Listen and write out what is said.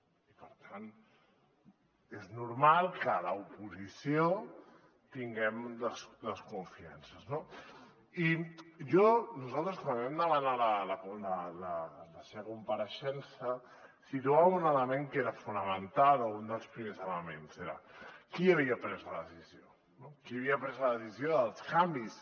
i per tant és normal que a l’oposició tinguem desconfiances no i nosaltres quan vam demanar la seva compareixença situàvem un element que era fonamental o un dels primers elements era qui havia pres la decisió no qui havia pres la decisió dels canvis